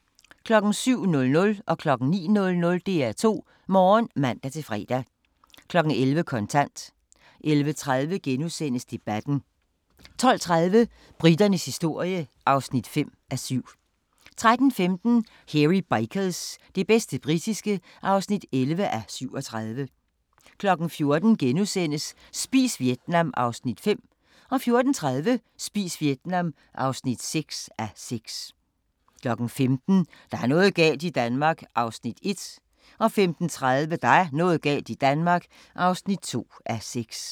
07:00: DR2 Morgen (man-fre) 09:00: DR2 Morgen (man-fre) 11:00: Kontant 11:30: Debatten * 12:30: Briternes historie (5:7) 13:15: Hairy Bikers – det bedste britiske (11:37) 14:00: Spis Vietnam (5:6)* 14:30: Spis Vietnam (6:6) 15:00: Der er noget galt i Danmark (1:6) 15:30: Der er noget galt i Danmark (2:6)